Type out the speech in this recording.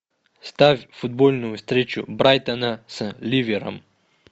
ставь футбольную встречу брайтона с ливером